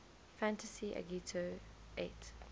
fantasy agito xiii